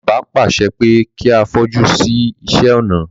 Bàbá pàṣẹ pé kí a fojú sí iṣé ọnà.